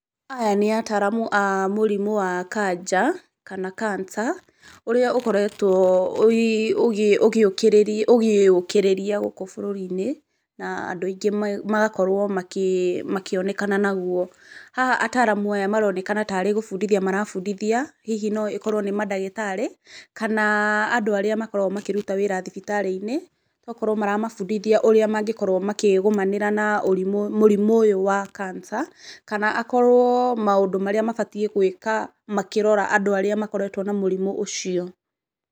Aya nĩ ataramu a mũrimũ wa kanja, kana cancer ũrĩa ũkoretwo, ũgĩũkĩrĩria gũkũ bũrũri-inĩ, na andũ aingĩ magakorwo makĩonekana naguo. Haha ataaramu aya maronekana tarĩ gũbundithia marabundithia hihi no ĩkorwo nĩ mandagĩtarĩ kana andũ arĩa makoragwo makĩruta wĩra thibitarĩ-inĩ, tokorwo maramabundithia ũrĩa mangĩkorwo makĩgũmanĩra na mũrimũ ũyũ wa cancer kana akorwo maũndũ marĩa mabatiĩ gwĩka makĩrora andũ arĩa makoretwo na mũrimũ ũcio.